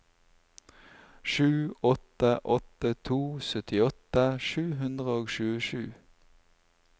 sju åtte åtte to syttiåtte sju hundre og tjuesju